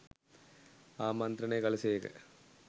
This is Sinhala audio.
ආමන්ත්‍රණය කළ සේක.